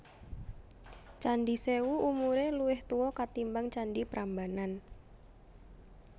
Candhi Sèwu umuré luwih tuwa katimbang candhi Prambanan